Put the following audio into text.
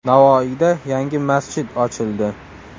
Navoiyda yangi masjid ochildi.